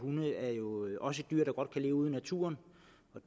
også er dyr der godt kan leve ude i naturen